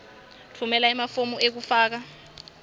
tfumela emafomu ekufaka